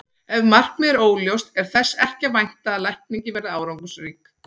Ef markmiðið er óljóst er þess ekki að vænta að lækningin verði árangursrík.